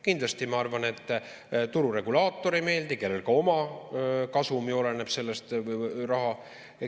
Kindlasti, ma arvan, tururegulaatorile ei meeldi, kellel ka oma kasum ju oleneb sellest.